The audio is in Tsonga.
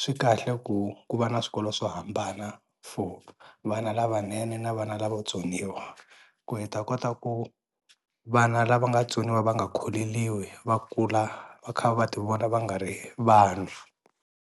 swi kahle ku ku va na swikolo swo hambana for vana lavanene na vana lavo vatsoniwa ku hi ta kota ku vana lava nga tsoniwa va nga kholeliwi va kula va kha va ti vona va nga ri vanhu.